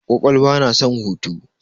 Kwakwalwa na son hutu.